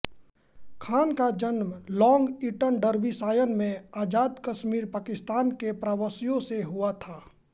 खान का जन्म Long Eaton Derbyshire में आज़ाद कश्मीर पाकिस्तान के प्रवासियों से हुआ था